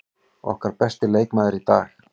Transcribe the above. Okkar besti leikmaður í dag.